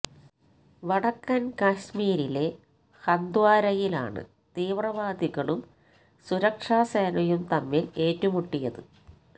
വടക്കന് കശ്മീരിലെ ഹന്ദ്വാരയിലാണ് തീവ്രവാദികളും സുരക്ഷാ സേനയും തമ്മില് ഏറ്റുമുട്ടിയത്